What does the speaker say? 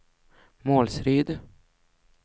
Målsryd